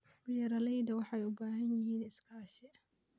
Beeralayda waxay u baahan yihiin iskaashi.